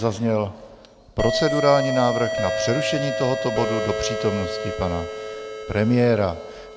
Zazněl procedurální návrh na přerušení tohoto bodu do přítomnosti pana premiéra.